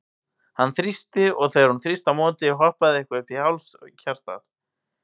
Hann þrýsti, og þegar hún þrýsti á móti, hoppaði eitthvað upp í háls hjartað?